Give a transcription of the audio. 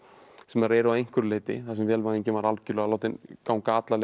sem þær eru að einhverju leyti þar sem vélvæðingin var látin ganga alla leið